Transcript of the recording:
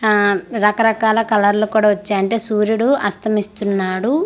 అహ్ రకరకాల కలర్లు కూడా వచ్చాయ్ అంటే సూర్యుడు అస్తమిస్తున్నాడు.